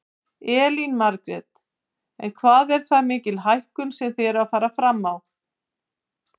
Elín Margrét: En hvað er það mikil hækkun sem þið eruð að fara fram á?